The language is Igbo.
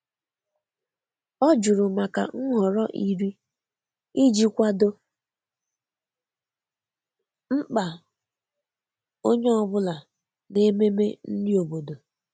O jụrụ maka nhọrọ nri iji kwado mkpa onye ọ bụla n'ememe nri obodo.